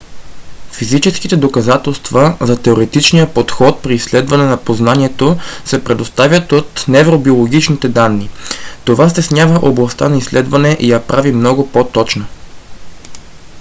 физическите доказателства за теоретичния подход при изследване на познанието се предоставят от невробиологичните данни. това стеснява областта на изследване и я прави много по-точна